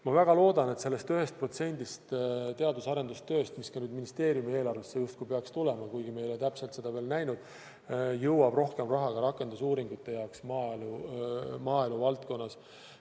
Ma väga loodan, et sellest 1%-st teadus- ja arendustööle, mis ka ministeeriumi eelarvesse justkui peaks tulema – kuigi me ei ole täpselt seda veel näinud –, jõuab rohkem raha ka rakendusuuringute jaoks maaelu valdkonnas.